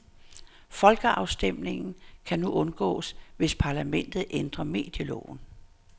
Folkeafstemningen kan nu kun undgås, hvis parlamentet ændrer medieloven.